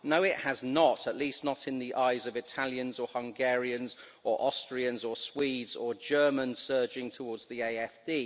No, it has not, at least not in the eyes of Italians, or Hungarians, or Austrians or Swedes, or German surging towards the AfD.